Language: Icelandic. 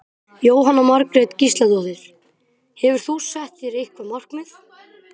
Jóhanna Margrét Gísladóttir: Hefur þú sett þér eitthvað markmið?